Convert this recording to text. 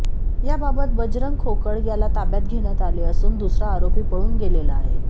या बाबत बजरंग खोकड याला ताब्यात घेण्यात आले असून दुसरा आरोपी पळून गेलेला आहे